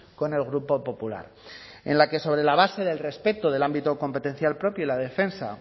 con el grupo popular en la que sobre la base del respeto del ámbito competencial propio y la defensa